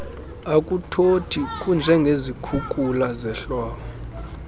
akuthothi kunjengezikhukula zehlobo